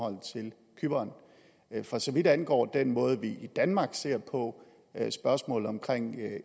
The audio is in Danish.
cypern for så vidt angår den måde vi i danmark ser på spørgsmålet om